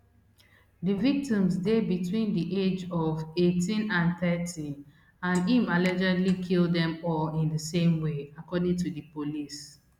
di victims dey between di age ofeighteen and thirty and im allegedly kill dem all in di same way according to di police